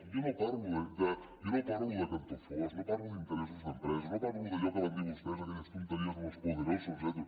jo no parlo de cantó fosc no parlo d’interessos d’empresa no parlo d’allò que van dir vostès aquelles tonteries de los poderosos etcètera